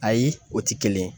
Ayi o ti kelen ye